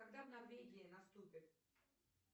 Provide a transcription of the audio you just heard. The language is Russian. когда в норвегии наступит